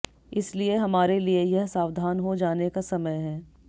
इसलिए हमारे लिए यह सावधान हो जाने का समय है